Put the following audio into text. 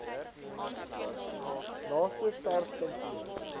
naaste sars kantoor